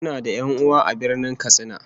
Muna da 'yan'uwa a Birnin Katsina